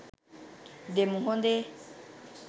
දෙමු හොඳේ